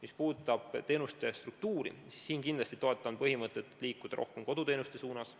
Mis puudutab teenuste struktuuri, siis ma kindlasti toetan põhimõtet, et tuleb liikuda rohkem koduteenuste suunas.